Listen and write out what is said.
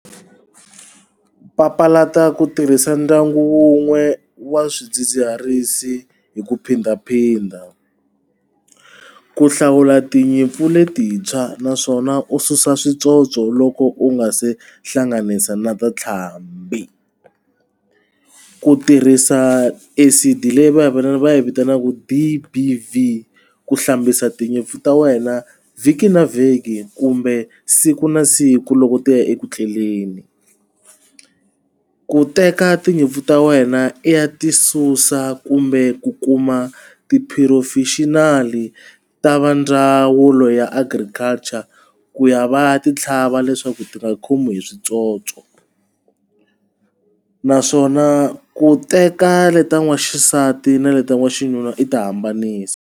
Papalata ku tirhisa ndyangu wun'we wa swidzidziharisi hi ku phindaphinda ku hlawula tinyimpfu letintshwa naswona u susa switsotso loko u nga se hlanganisa na ta ntlhambi ku tirhisa acid leyi vavanuna va yi vitanaka D_B_V ku hlambisa tinyimpfu ta wena vhiki na vhiki kumbe siku na siku loko ti ya eku tleleni ku teka tinyimpfu ta wena i ya ti susa kumbe ku kuma tiphurofexinali ta va ndzawulo ya agriculture ku ya va ya ti tlhava leswaku ti nga khomiwi hi switsotso naswona ku teka leta waxisati na leta vaxinuna i ti hambanisa.